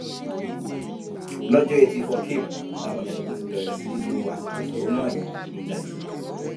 lọjọ etí furcabee làwọn jàǹdùkú ti bẹrẹ sí í lo àsìkò ìfẹhónú hàn yìí digunjalè